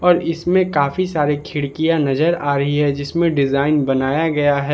और इसमें काफी सारे खिड़कियां नजर आ रही है जिसमें डिजाइन बनाया गया है।